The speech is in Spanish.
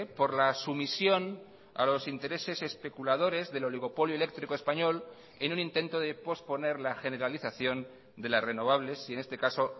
por la sumisión a los intereses especuladores del oligopolio eléctrico español en un intento de posponer la generalización de las renovables y en este caso